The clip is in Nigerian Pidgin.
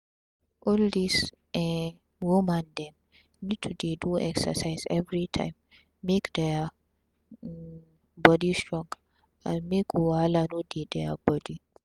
all dis um woman dem need to dey do exercise everi time make dia um bodi strong and make wahala no dey dia body